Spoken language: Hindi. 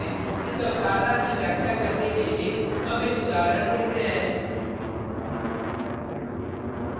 इस अवधारणा की व्याख्या करने के लिए हम एक उदाहरण देखते हैं: